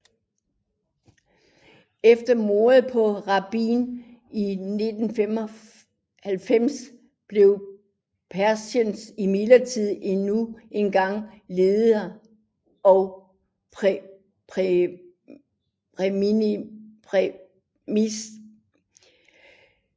Efter mordet på Rabin i 1995 blev Peres imidlertid endnu engang leder og premierminister